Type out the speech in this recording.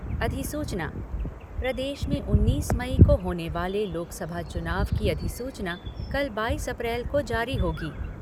अधिसूचना प्रदेश में उन्नीस मई को होने वाले लोकसभा चुनाव की अधिसूचना कल बाईस अप्रैल को जारी होगी।